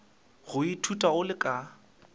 go ithuta o le ka